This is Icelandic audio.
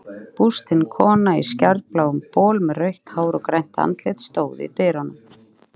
Bústin kona í skærbláum bol með rautt hár og grænt andlit stóð í dyrunum.